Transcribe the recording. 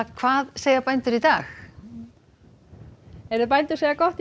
hvað segja bændur í dag heyrðu bændur segja gott